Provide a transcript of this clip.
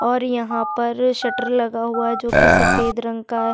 और यहाँ पर शटर लगा हुआ हैं जो की सफेद रंग का--